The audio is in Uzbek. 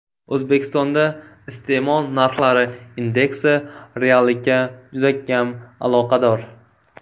O‘zbekistonda iste’mol narxlari indeksi reallikka juda kam aloqador.